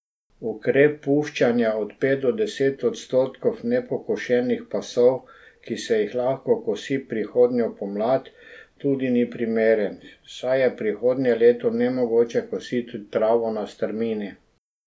Ukrep puščanja od pet do deset odstotkov nepokošenih pasov, ki se jih lahko kosi prihodnjo pomlad, tudi ni primeren, saj je prihodnje leto nemogoče kositi travo na strmini.